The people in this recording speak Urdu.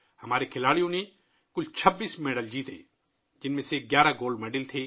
ہمارے کھلاڑیوں نے مجموعی طور پر 26 تمغے جیتے ، جن میں سے 11 گولڈ میڈلز تھے